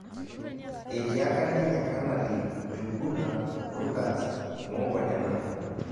Etiaka ninye kanali Njuguna Rutas mongo nena